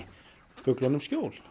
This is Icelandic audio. fuglunum skjól